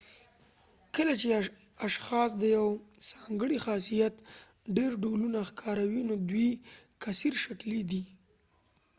کله چې اشخاص د یو ځانګړي خاصیت ډیر ډولونه ښکاروي نو دوی کثیرشکلی دي